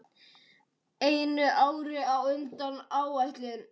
Einu ári á undan áætlun.